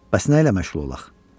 bəs nə ilə məşğul olaq?